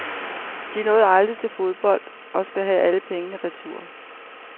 De nåede aldrig til fodbold og skal have alle penge retur.